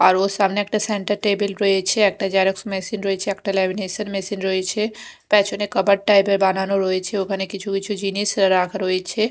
আর ওর সামনে একটা সেন্টার টেবিল রয়েছে একটা জেরক্স মেশিন রয়েছে একটা লেমিনেশন মেশিন রয়েছে পেছনে কাবার্ড টাইপ -এর বানানো রয়েছে ওখানে কিছু কিছু জিনিস রাখা রয়েছে।